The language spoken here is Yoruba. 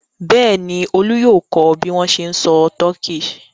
Bẹ́ẹ̀ ni, Olú yóò kọ́ bí wọ́n ṣe ń sọ Turkish.